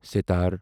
sitar